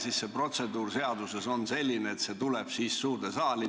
Seaduses ette nähtud protseduur on selline, et siis tuleb küsimus suurde saali.